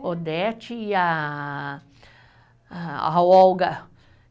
Odete e a, a, a Olga,